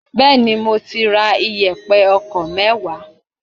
Bẹẹni, mo ti ra iyepe ọkọ̀ mewaa.